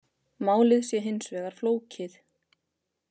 Málið sé hins vegar flókið